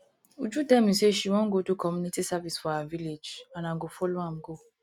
uju tell me say she wan go do community service for her village and i go follow am go